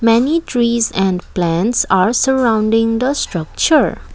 many trees and plants are surrounding the structured.